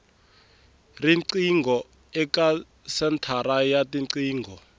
riqingho eka senthara ya tiqingho